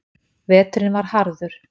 Veturinn var harður.